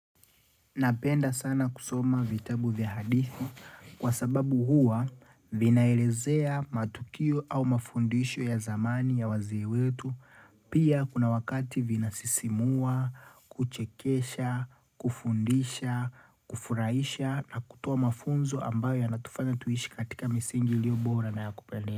Napenda sana kusoma vitabu vya hadithi kwa sababu huwa vinaelezea matukio au mafundisho ya zamani ya wazee wetu. Pia kuna wakati vina sisimua, kuchekesha, kufundisha, kufurahisha na kutoa mafunzo ambayo ya natufanya tuishi katika misingi iliyo bora na ya kupendeza.